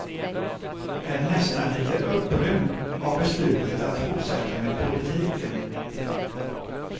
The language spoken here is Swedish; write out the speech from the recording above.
Är nästan lite upprymd av beslutet att fortsätta med politiken.